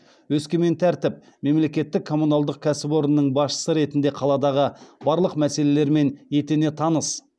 өскемен тәртіп мемлекеттік коммуналдық кәсіпорнының басшысы ретінде қаладағы барлық мәселелермен етене таныс